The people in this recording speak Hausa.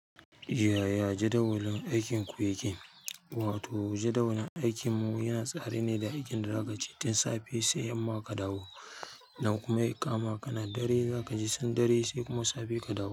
Yaya jadawalin aikinku yake? Wato jadawalin aikinmu yana tsari ne da aikin da za ka ci. Tin safe sai yamma ka dawo. Idan kuma ya kama kana dare za kaje tun dare sai kuma safe ka dawo.